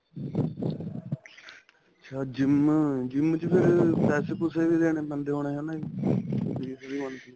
ਅੱਛਾ GYM GYM ਚ ਫ਼ਿਰ ਪੈਸੇ ਪੁਸੇ ਵੀ ਦੇਣੇ ਪੈਂਦੇ ਹੋਣੇ ਹਨਾ ਜੀ